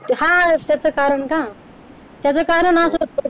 हा त्याचं कारण न त्याचं कारण असं होतं